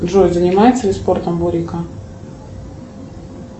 джой занимается ли спортом бурито